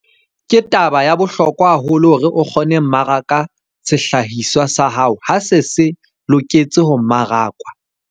Ke taba ya bohlokwa haholo hore o kgone ho mmaraka sehlahiswa sa hao ha se se se loketse ho mmarakwa.